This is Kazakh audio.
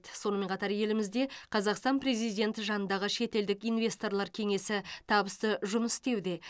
сонымен қатар елімізде қазақстан президенті жанындағы шетелдік инвесторлар кеңесі табысты жұмыс істеуде